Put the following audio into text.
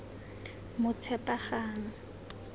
motshepagang